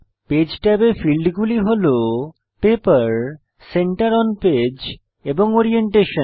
page ট্যাবে ফীল্ডগুলি হল পেপার সেন্টার ওন পেজ এবং ওরিয়েন্টেশন